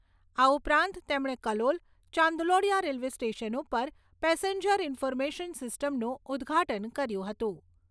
આ ઉપરાત તેમણે કલોલ, ચાંદલોડિયા રેલ્વે સ્ટેશન ઉપર પેસેન્જર ઇન્ફોર્મેશન સિસ્ટમનું ઉદ્ઘાટન કર્યુ હતું.